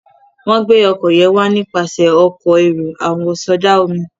wón gbé oko yen wá nípasẹ Ọkọ̀ èrò àwọ̀sọdá-omi.